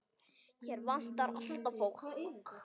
Hér vantar alltaf fólk.